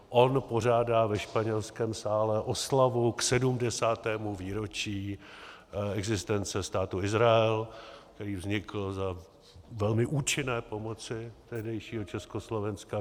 On pořádá ve Španělském sále oslavu k 70. výročí existence Státu Izrael, který vznikl za velmi účinné pomoci tehdejšího Československa.